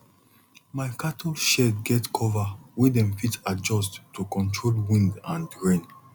my cattle shed get cover wey dem fit adjust to control wind and rain